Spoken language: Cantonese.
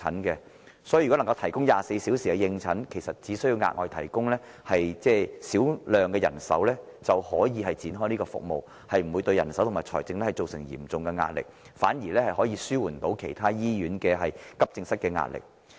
所以，如果能夠提供24小時的應診服務，只需額外提供少量人手便能展開這項服務，不會對人手或財政造成嚴重壓力，反而能紓緩其他醫院急症室的壓力。